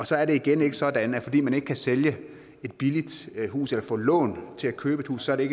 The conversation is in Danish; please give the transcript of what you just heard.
så er det igen ikke sådan at fordi man ikke kan sælge et billigt hus eller få lån til at købe et hus er det